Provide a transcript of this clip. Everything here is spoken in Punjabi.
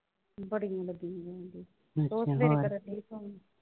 ਬੜੀ ਹੀ . ਹੋਈ ਹੋਈ ਸੀ . ਹੋਰ ਸਵੇਰੇ ਕਰਨ ਡਈ phone